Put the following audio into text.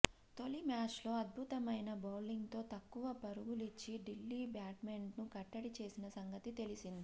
తొలి మ్యాచ్లో అద్భుతమైన బౌలింగ్తో తక్కువ పరుగులిచ్చి ఢిల్లీ బ్యాట్స్మెన్ను కట్టడి చేసిన సంగతి తెలిసిందే